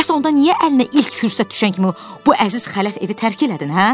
Bəs onda niyə əlinə ilk fürsət düşən kimi bu əziz xələf evi tərk elədin, hə?